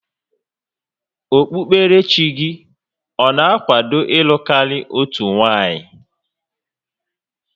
Okpukoerechi gị ọ na-akwado ịlụ karị otu nwanyị?